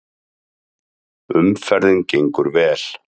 Umferðin gengur vel